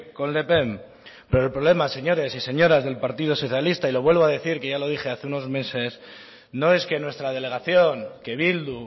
con le pen pero el problema señores y señoras del partido socialista y lo vuelvo a decir que ya lo dije hace unos meses no es que nuestra delegación que bildu